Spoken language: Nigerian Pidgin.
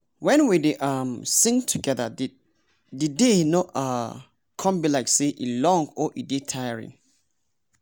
when we dey um sing together the day no um come be like say e long or e dey tiring.